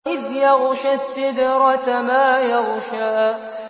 إِذْ يَغْشَى السِّدْرَةَ مَا يَغْشَىٰ